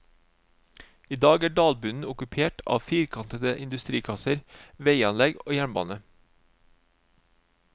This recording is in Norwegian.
I dag er dalbunnen okkupert av firkantede industrikasser, veianlegg og jernbane.